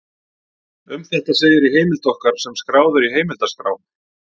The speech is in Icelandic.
Um þetta segir í heimild okkar sem skráð er í heimildaskrá: